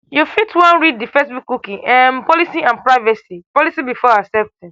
you fit wan read di facebook cookie um policy and privacy policy before accepting